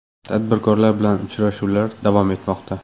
Tadbirkorlar bilan uchrashuvlar davom etmoqda.